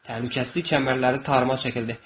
Təhlükəsizlik kəmərləri tarıma çəkildi.